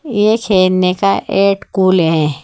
यह खेलने का एट कुले है।